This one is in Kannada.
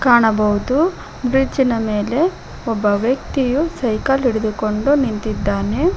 ಕಾಣಬಹುದು ಫ್ರಿಡ್ಜ್ ಮೇಲೆ ಒಬ್ಬ ವ್ಯಕ್ತಿಯು ಸೈಕಲ್ ಹಿಡಿದುಕೊಂಡು ನಿಂತಿದ್ದಾನೆ.